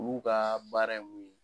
O'u ka baara ye mun ye.